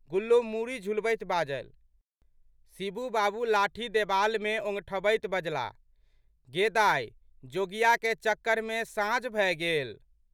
गुल्लो मूड़ी झुलबैत बाजलि। शिबू बाबू लाठी देबालमे ओंगठबैत बजलाह,"गे दाइ जोगियाके चक्करमे साँझ भए गेल।